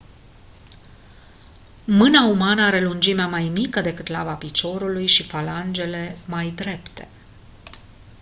mâna umană are lungimea mai mică decât laba piciorului și falangele mai drepte